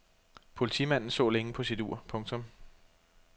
Politimanden så længe på sit ur. punktum